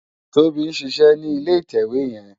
Tobi n ṣiṣè ni ilé itèwé yèn